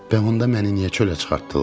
Bəs onda məni niyə çölə çıxartdılar?